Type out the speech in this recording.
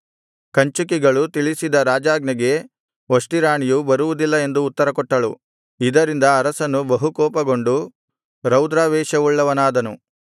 ಕಂಚುಕಿಗಳು ತಿಳಿಸಿದ ರಾಜಾಜ್ಞೆಗೆ ವಷ್ಟಿ ರಾಣಿಯು ಬರುವುದಿಲ್ಲ ಎಂದು ಉತ್ತರಕೊಟ್ಟಳು ಇದರಿಂದ ಅರಸನು ಬಹುಕೋಪಗೊಂಡು ರೌದ್ರಾವೇಶವುಳ್ಳವನಾದನು